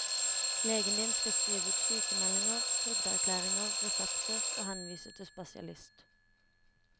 Legen din skal skrive ut sykemeldinger, trygdeerklæringer, resepter, og henvise til spesialist.